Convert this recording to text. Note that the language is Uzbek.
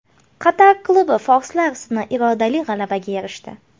Qatar klubi forslar ustidan irodali g‘alabaga erishdi.